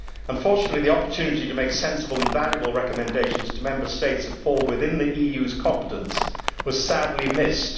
Unfortunately, the opportunities to make sensible and valuable recommendations to Member States in areas that fall within the EU's competence were sadly missed.